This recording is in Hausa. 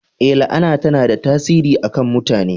Ee, la'ana tana da tasiri a kan mutane